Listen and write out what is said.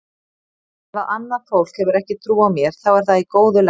Ef að annað fólk hefur ekki trú á mér þá er það í góðu lagi.